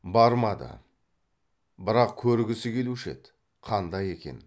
бармады бірақ көргісі келуші еді қандай екен